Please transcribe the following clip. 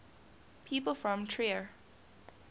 people from trier